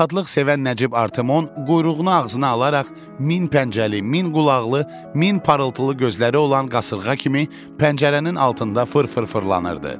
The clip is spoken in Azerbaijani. Rahatlıq sevən Nəcib Artimon quyruğunu ağzına alaraq min pəncəli, min qulaqlı, min parıltılı gözləri olan qasırğa kimi pəncərənin altında fır-fır fırlanırdı.